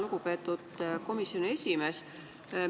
Lugupeetud komisjoni esimees!